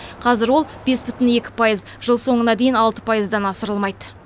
қазір ол бес бүтін екі пайыз жыл соңына дейін алты пайыздан асырылмайды